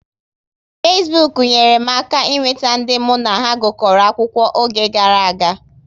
Fesbuk nyere m aka ị nweta ndị mụ na ha gukoro akwụkwọ oge gara aga